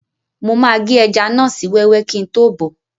Mo máa gé ẹja náà sí wẹ́wẹ́ kíi tó bọ̀ọ́